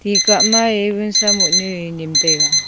ti kah ma ye wunsa mo nyu ye nyem taiga.